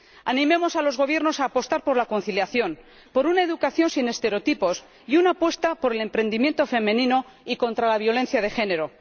Animemos a los Gobiernos a apostar por la conciliación, por una educación sin estereotipos y una apuesta por el emprendimiento femenino y contra la violencia de género.